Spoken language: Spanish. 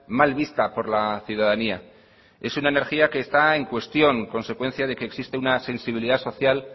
mal vista por la ciudadanía es una energía que está en cuestión consecuencia de que existe una sensibilidad social